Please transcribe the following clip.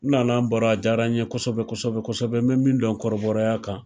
Nana baro a jara n ye kosɛbɛ n bɛ min dɔn kɔrɔbɔrɔya kan